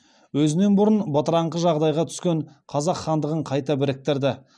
өзінен бұрын бытыраңқы жағдайға түскен қазақ хандығын қайта біріктірді